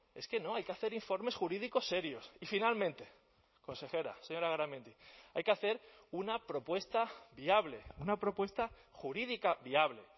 es que no hay que hacer informes jurídicos serios y finalmente consejera señora garamendi hay que hacer una propuesta viable una propuesta jurídica viable